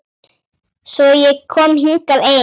Svo ég kom hingað ein.